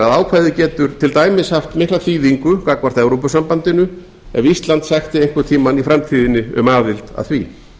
ákvæðið getur til dæmis haft mikla þýðingu gagnvart evrópusambandinu ef ísland sækti einhvern tímann í framtíðinni um aðild að því